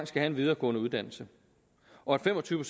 have en videregående uddannelse og at fem og tyve